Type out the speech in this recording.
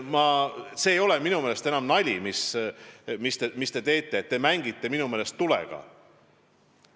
See ei ole minu meelest enam nali, mis te teete – te mängite tulega.